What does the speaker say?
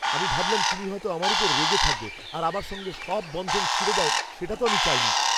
আমি ভাবলাম তুমি হয়তো আমার ওপর রেগে থাকবে আর আমার সঙ্গে সব বন্ধন ছিঁড়ে দাও, সেটা তো আমি চাইনি।